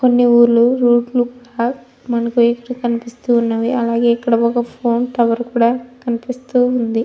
కొన్ని ఊరు రూట్లు కూడా మనకు ఇక్కడ కనిపిస్తున్నవి. అలాగే ఒక ఫోన్ టవర్ కూడా కనిపిస్తూ ఉంది.